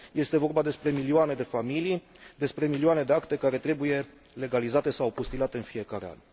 Este vorba despre milioane de familii, despre milioane de acte care trebuie legalizate sau apostilate în fiecare an.